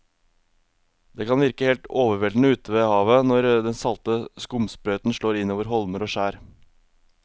Det kan virke helt overveldende ute ved havet når den salte skumsprøyten slår innover holmer og skjær.